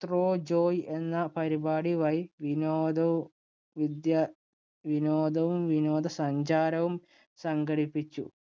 through joy എന്ന പരിപാടി വഴി വിനോദവും വിദ്യ വിനോദവും, വിനോദസഞ്ചാരവും സംഘടിപ്പിച്ചു.